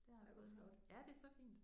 Det har jeg ja det er så fint